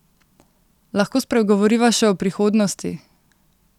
Lahko spregovoriva še o prihodnosti?